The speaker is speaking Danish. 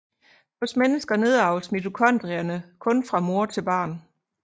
Hos mennesker nedarves mitochondrierne kun fra mor til barn